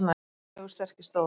Gunnlaugur sterki stóð.